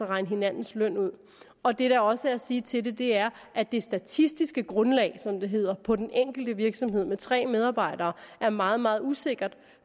regne hinandens løn ud og det der også er at sige til det er at det statistiske grundlag som det hedder på den enkelte virksomhed med tre medarbejdere er meget meget usikkert